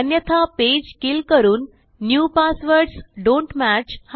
अन्यथा page kill करून new passwords don't match